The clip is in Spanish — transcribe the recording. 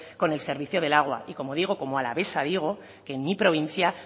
con el servicio del agua y como digo como alavesa digo que en mi provincia